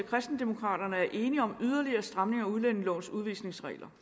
kristendemokraterne er enige om yderligere stramninger i udlændingelovens udvisningsregler